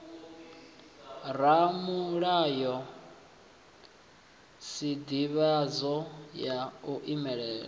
ramulayo sdivhadzo ya u imela